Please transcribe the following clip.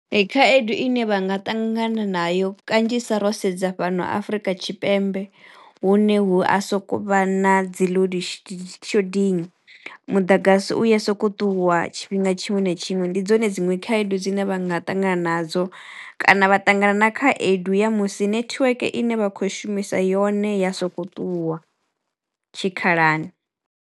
Ee khaedu ine vha nga ṱangana na yo kanzhisa ro sedza fhano Afurika Tshipembe hune hu a sokou vha na dzi load shedding mudagasi uya soko ṱuwa tshifhinga tshiṅwe na tshiṅwe, ndi dzone dziṅwe khaedu dzine vha nga ṱangana nadzo kana vha ṱangana na khaedu ya musi netiweke ine vha khou shumisa yone ya soko ṱuwa tshikhalani.